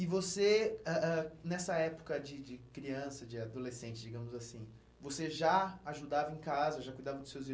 E você, ãh ãh nessa época de de criança, de adolescente, digamos assim, você já ajudava em casa, já cuidava dos seus